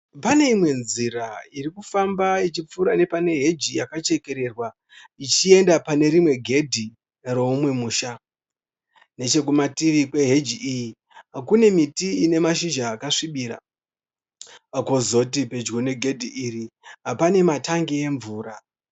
Pane imwe nzira iri kufamba ichipfuura nepane heji yakachekererwa ichienda pane rimwe gedhi roumwe musha. Nechekumativi kweheji iyi kune miti ine mashizha akasvibira. Kwozoti pedyo negedhi iri pane matangi emvura.